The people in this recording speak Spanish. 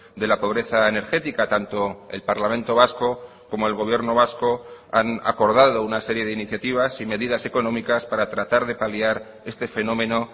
de la pobreza energética tanto el parlamento vasco como el gobierno vasco han acordado una serie de iniciativas y medidas económicas para tratar de paliar este fenómeno